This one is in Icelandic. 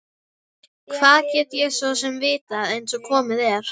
Hvað get ég svo sem vitað einsog komið er?